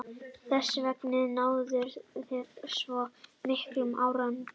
Þessvegna náðum við svona miklum árangri.